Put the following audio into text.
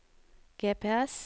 GPS